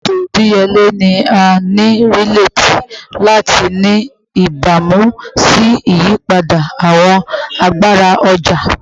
Eto idiyele ni a nireti lati ni ibamu si iyipada awọn agbara ọja